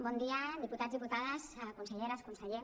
bon dia diputats diputades conselleres conseller